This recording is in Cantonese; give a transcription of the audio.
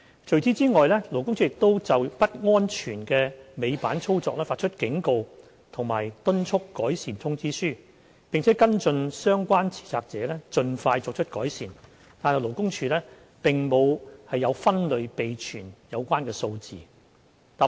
除此之外，勞工處亦有就不安全的尾板操作發出警告及敦促改善通知書，並跟進相關持責者盡快作出改善，但勞工處並沒有分類備存有關數字。